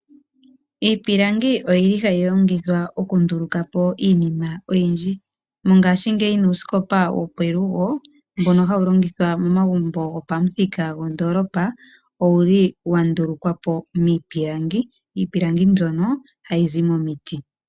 Iipilangi oyili hayi longithwa oku nduluka po iinima oyindji. Mongashingeyi nuusikopa wo pelugo mbono hawu longithwa momagumbo gopamuthika gondolopa owuli wa ndulukwapo miipilangi. Iipilangi mbyono hayi zi momiiti.